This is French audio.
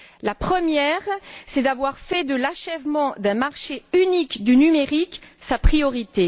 La première est d'avoir fait de l'achèvement d'un marché unique du numérique sa priorité.